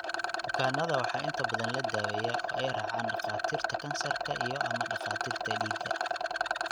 Bukaannada waxaa inta badan la daweeyaa oo ay raacaan dhakhaatiirta kansarka iyo/ama dhakhaatiirta dhiigga.